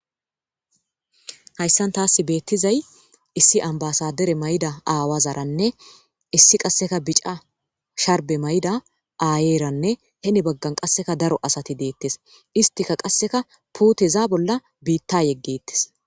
hayssan taas beettizay issi ambasadere may7da aawazaranne issi qasseka bica sharbe mayda aayeranne hene baggan qasseka daro asati deettes istika qasseka puteza bolla biitta yeggettes